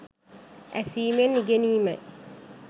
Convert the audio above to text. ඇසීමෙන් ඉගෙනීමයි.